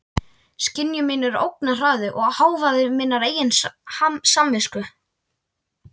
Skynjun mín er ógnarhraði og hávaði minnar eigin samvisku.